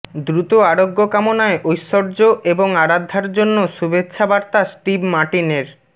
দ্রুত আরোগ্য কামনায় ঐশ্বর্য এবং আরাধ্যার জন্য শুভেচ্ছা বার্তা স্টিভ মার্টিনের